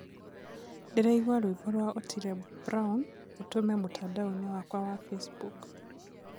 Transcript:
Ndĩraigua rwĩmbo rwa Otile Brown ũtũme mũtandaoni-inĩ wakwa wa facebook